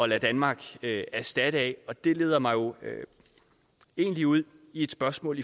lade danmark erstatte af det leder mig egentlig ud i et spørgsmål